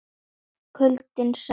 Kuldinn sætti færis að bíta og svíða.